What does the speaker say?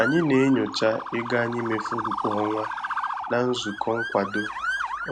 Anyị na-enyocha ego anyị mefuru kwa ọnwa na nzukọ nkwado